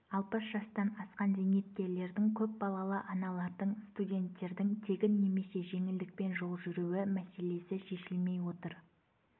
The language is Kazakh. алпыс жастан асқан зейнеткерлердің көпбалалы аналардың студенттердің тегін немесе жеңілдікпен жол жүруі мәселесі шешілмей отыр